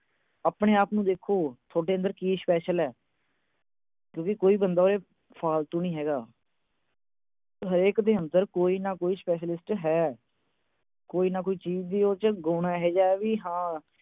ਆਪਣੇ-ਆਪ ਨੂੰ ਦੇਖੋ ਤੁਹਾਡੇ ਅੰਦਰ ਕੀ special ਆ। ਕਿਉਂਕਿ ਕੋਈ ਬੰਦਾ ਫਾਲਤੂ ਨਹੀਂ ਹੈਗਾ। ਹਰੇਕ ਦੇ ਅੰਦਰ ਕੋਈ ਨਾ ਕੋਈ specialist ਹੈ। ਕੋਈ ਨਾ ਚੀਜ ਇਹੋ ਜੀ ਆ, ਗੁਣ ਏਹੋ ਜਾ, ਬਈ ਹਾਂ।